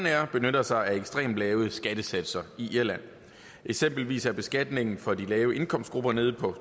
air benytter sig af ekstremt lave skattesatser i irland eksempelvis er beskatningen for de lave indkomstgrupper nede på